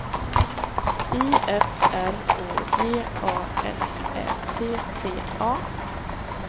I F R Å G A S Ä T T A